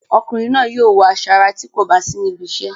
Ọkùnrin náà yóò wọ aṣọ ara tí kò bá sí níbi iṣẹ́.